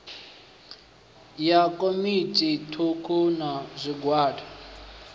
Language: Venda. ya dzikomiti thukhu na zwigwada